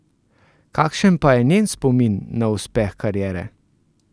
Kakšen pa je njen spomin na uspeh kariere?